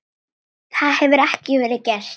Það hefur ekki verið gert.